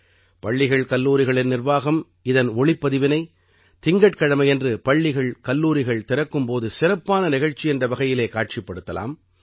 பள்ளிகள்கல்லூரிகளின் நிர்வாகம் இதன் ஒளிப்பதிவினை திங்கட்கிழமையன்று பள்ளிகள்கல்லூரிகள் திறக்கும் போது சிறப்பான நிகழ்ச்சி என்ற வகையிலே காட்சிப்படுத்தலாம்